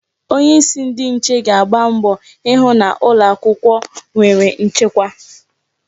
Onyeisi ndi nche ga na-agba mbọ ịhụ na ụlọ akwụkwọ nwere nchekwa.